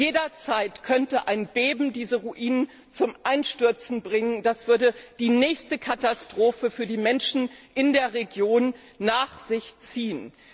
Jederzeit könnte ein Beben diese Ruinen zum Einstürzen bringen, und das würde die nächste Katastrophe für die Menschen in der Region nach sich ziehen.